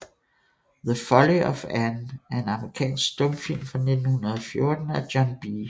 The Folly of Anne er en amerikansk stumfilm fra 1914 af John B